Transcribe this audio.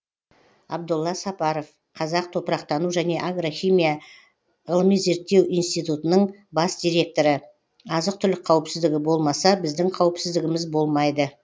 абдолла сапаров қазақ топырақтану және агрохимия ғылыми зерттеу институтының бас директоры азық түлік қауіпсіздігі болмаса біздің қауіпсіздігіміз болмайды